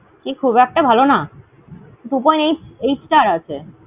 কি খুব একটা ভালো না? two point eight star আছে।